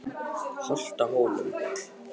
Holtahólum